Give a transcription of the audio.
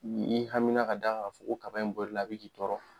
Ni i hamina ka d'a kan ka fɔ ko kaba in bolila a bɛ k'i tɔɔrɔ.